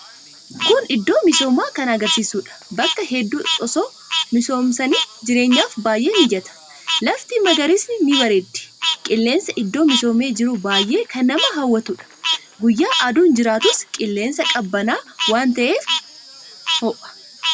Kun iddoo misoomaa kan agarsiisudha. Bakka hedduu osoo misoomsanii jireenhaf baay'ee mijata. Lafti magariisni ni bareeddi. Qilleensi iddoo misoome jiru baay'ee kan nama hawwatuudha. Guyyaa aduun jiraatus qilleensi qabbana waan ta'eef hon hoo'u.